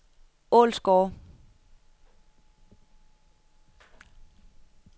Ålsgårde